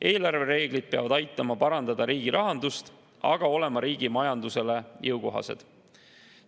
Eelarvereeglid peavad aitama parandada riigi rahandust, aga olema riigi majandusele jõukohased.